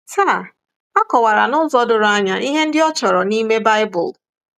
Taa a kọwara n’ụzọ doro anya ihe ndị ọ chọrọ n’ime Baịbụl.